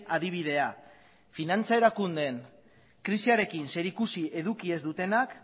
adibidea finantza erakundeen krisiarekin zerikusi eduki ez dutenak